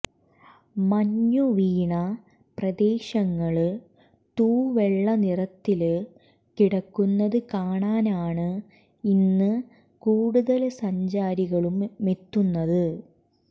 മഞ്ഞുവീണ പ്രദേശങ്ങള് തൂവെള്ള നിറത്തില് കിടക്കുന്നത് കാണാനാണ് ഇന്ന് കൂടുതല് സഞ്ചാരികളുംമെത്തുന്നത്